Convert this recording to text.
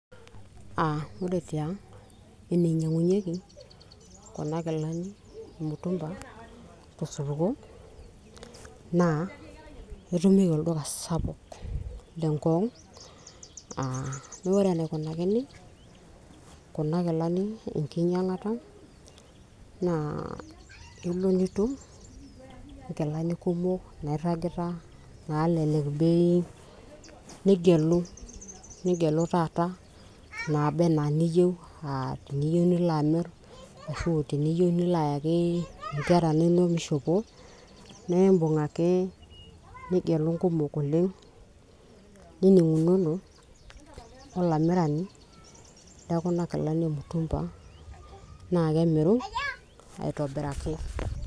uh, ore tiang eninyiang'unyieki kuna kilani emutumba tosupuko naa etumieki olduka sapuk le ngong uh, wore enaikunakini kuna kilani enkinyiang'ata naa kelo nitum inkilani kumok nairragita nalelek bei nigelu, nigelu taata naaba enaa niyieu uh, teniyieu nilo amirr ashu teniyieu nilo ayaki inkera inonok mishopo naa imbung ake nigelu inkumok oleng nining'unono olamirani lekuna kilani emutumba naa kemiru aitobiraki.